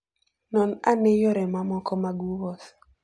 Non ane yore mamoko mag wuoth.